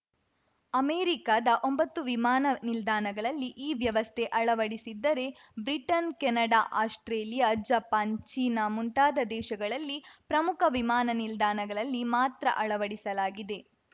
ಅಮೆರಿಕದ ಒಂಬತ್ತು ವಿಮಾನ ನಿಲ್ದಾಣಗಳಲ್ಲಿ ಈ ವ್ಯವಸ್ಥೆ ಅಳವಡಿಸಿದ್ದರೆ Britain Canada Australia Japan China ಮುಂತಾದ ದೇಶಗಳಲ್ಲಿ ಪ್ರಮುಖ ವಿಮಾನ ನಿಲ್ದಾಣಗಳಲ್ಲಿ ಮಾತ್ರ ಅಳವಡಿಸಲಾಗಿದೆ